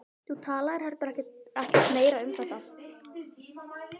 Þú talaðir heldur ekkert meira um þetta.